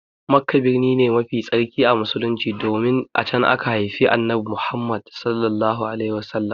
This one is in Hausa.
Makka birni ne mafi tsarki a Musulunci domin a can aka haifi Annabi Muhammad.